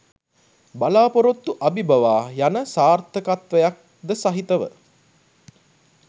බලාපොරොත්තු අබිබවා යන සාර්ථකත්වයක්ද සහිතව